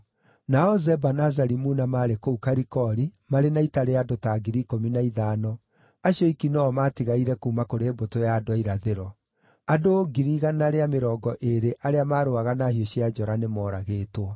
Nao Zeba na Zalimuna maarĩ kũu Karikori marĩ na ita rĩa andũ ta 15,000, acio oiki no-o maatigaire kuuma kũrĩ mbũtũ ya andũ a irathĩro; andũ 100,000 rĩa mĩrongo ĩĩrĩ arĩa maarũaga na hiũ cia njora nĩ moragĩtwo.